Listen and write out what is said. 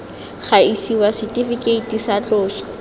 ga isiwa setifikeiti sa tloso